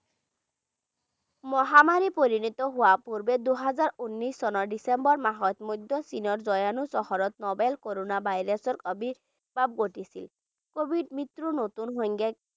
মহামাৰীলৈ পৰিণত হোৱাৰ পূৰ্বে দুহেজাৰ উনৈছ চনৰ ডিচেম্বৰ মাহত মধ্য চীনৰ চহৰত novel corona virus ৰ আৱিৰ্ভাৱ ঘটিছিল covid মৃত্যুৰ নতুন সংজ্ঞাই